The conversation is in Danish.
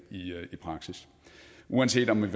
i praksis uanset om man